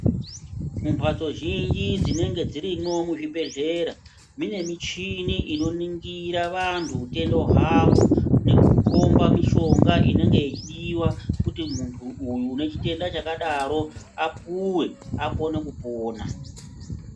Mumbatso zhinji dzinenge dzirimwo muzvibhedhlera, mune michini inoningira vantu utenda hwavo nekukomba mishonga inenge ichidiwa, kuti muntu uyu une chitenda chakadaro apuwe, akone kupona.